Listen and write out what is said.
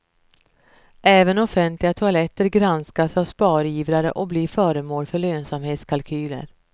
Även offentliga toaletter granskas av sparivrare och blir föremål för lönsamhetskalkyler.